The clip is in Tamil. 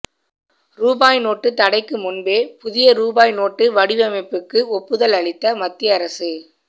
ரூபாய் நோட்டு தடைக்கு முன்பே புதிய ரூபாய் நோட்டு வடிவமைப்புக்கு ஒப்புதல் அளித்த மத்திய அரசு